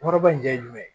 Kɔrɔba in jɛn ye jumɛn ye